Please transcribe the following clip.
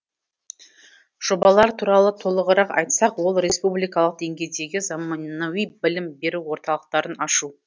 жобалар туралы толығырақ айтсақ ол республикалық деңгейдегі заманауи білім беру орталықтарын ашу